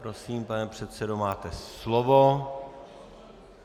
Prosím, pane předsedo, máte slovo.